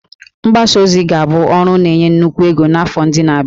Mgbasa ozi ga-abụ ọrụ na-enye nnukwu ego n'afọ ndị na-abịa